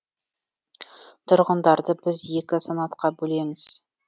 тұрғындарды біз екі санатқа бөлеміз